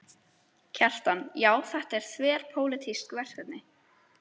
Kjartan: Já, þetta er þverpólitískt verkefni?